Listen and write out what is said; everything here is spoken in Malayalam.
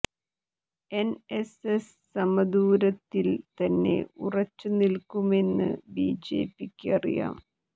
എൻഎസ് എസ് സമദൂരത്തിൽ തന്നെ ഉറച്ചു നിൽക്കുമെന്ന് ബിജെപിക്ക് അറിയാം